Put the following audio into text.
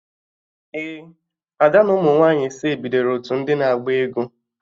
Ee, Ada na ụmụ nwaanyị ise bidoro otu ndị na-agba egwu